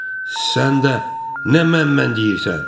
Sən də nə mən-mən deyirsən?